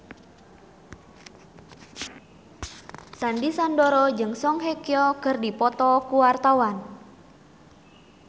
Sandy Sandoro jeung Song Hye Kyo keur dipoto ku wartawan